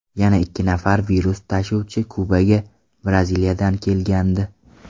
Yana ikki nafar virus tashuvchisi Kubaga Braziliyadan kelgandi.